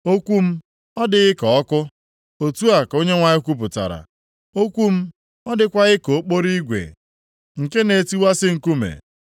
“Okwu m ọ dịghị ka ọkụ? Otu a ka Onyenwe anyị kwupụtara, + 23:29 Maọbụ, na-ajụ ajụjụ sị Okwu m ọ dịkwaghị ka okporo igwe + 23:29 Lit. Hama nke na-etiwasị nkume?”